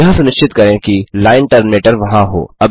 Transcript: यह सुनिश्चित करें कि लाइन टर्मिनेटर वहाँ हो